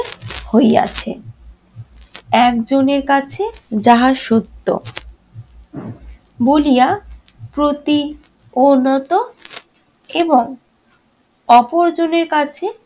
হইয়াছে। একজনের কাছে যাহা সত্য বলিয়া প্রতী এবং অপরজনের কাছে